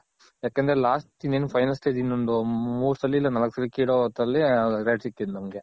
ಯಾಕಂದ್ರೆ lost ಇನ್ನೇನ್ Final Stage ಇನ್ನೊಂದ್ ಮೂರ್ ಸಲಿ ಇಲ್ಲ ನಾಲ್ಕ್ ಸಲಿ ಕಿಳೋ ಹೊತ್ತಲ್ಲಿ rate ಸಿಕ್ಕಿದ್ ನಮ್ಮಗೆ .